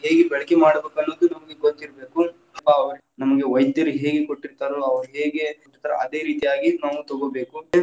ಹೇಗೆ ಬಳಕೆ ಮಾಡಬೇಕು ಅನ್ನೋದು ನಮಗೆ ಗೊತ್ತಿರಬೇಕು, ಆ ನಮಗೆ ವೈದ್ಯರು ಹೇಗೆ ಕೊಟ್ಟಿರ್ತಾರೋ, ಅವ್ರ ಹೇಗೆ ಹೇಳ್ತಾರೋ ಅದೇ ರೀತಿಯಾಗಿ ನಾವ್‌ ತಗೋಬೇಕು.